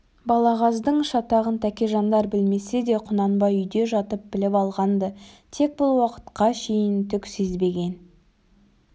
балағаздың шатағын тәкежандар білмесе де құнанбай үйде жатып біліп алған-ды тек бұл уақытқа шейін түк сезбеген